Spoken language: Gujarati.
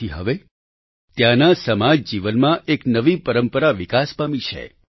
તેથી હવે ત્યાંના સમાજ જીવનમાં એક નવી પરંપરા વિકાસ પામી છે